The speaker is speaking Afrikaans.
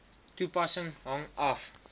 toepassing hang af